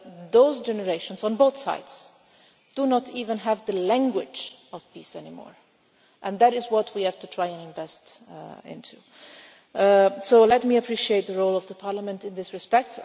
Those generations, on both sides, do not even have the language of peace anymore and that is what we have to try and invest in. So let me express my appreciation of the role of Parliament in this respect.